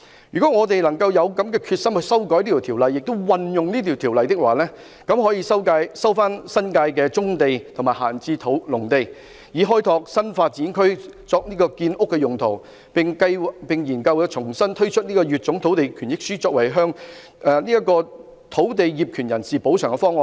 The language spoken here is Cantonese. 如果我們有決心修改及運用《條例》，便可以收回新界的棕地和閒置農地，以開拓新發展區作建屋用途，並研究重新推出乙種換地權益書，作為向土地業權人補償的方案。